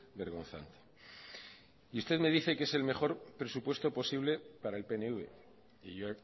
vergonzante y usted me dice que es el mejor presupuesto posible para el pnv y yo